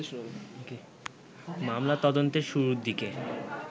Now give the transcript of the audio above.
মামলা তদন্তের শুরুর দিকে